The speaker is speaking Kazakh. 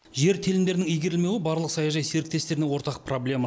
жер телімдерінің игерілмеуі барлық саяжай серіктестеріне ортақ проблема